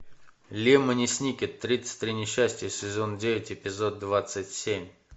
лемони сникет тридцать три несчастья сезон девять эпизод двадцать семь